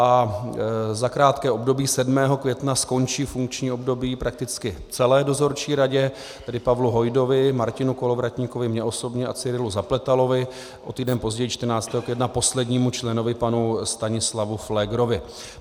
A za krátké období 7. května skončí funkční období prakticky celé dozorčí radě, tedy Pavlu Hojdovi, Martinu Kolovratníkovi, mně osobně a Cyrilu Zapletalovi, o týden později 14. května poslednímu členovi panu Stanislavu Pflégerovi.